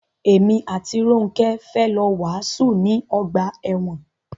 Èmi àti Rónkẹ́ fẹ́ lọ wàásù ní ọgbà ẹ̀wọn.